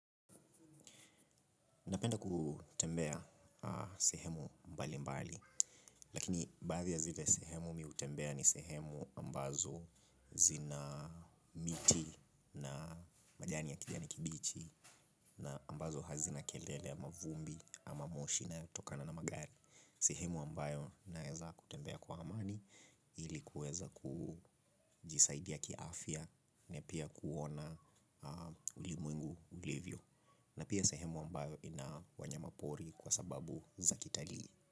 Napenda kutembea sehemu mbali mbali, lakini baadhi ya zile sehemu mimi hutembea ni sehemu ambazo zina miti na majani ya kijani kibichi na ambazo hazina kelele ama vumbi ama moshi inayotokana na magari. Sehemu ambayo naeza kutembea kwa amani ilikuweza kujisaidia kiafya na pia kuona ulimwengu ulivyo. Na pia sehemu ambayo ina wanyama pori kwa sababu za kitalii.